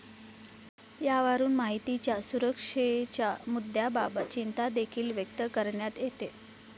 यावरून माहितीच्या सुरक्षेच्या मुद्याबाबत चिंतादेखील व्यक्त करण्यात येते.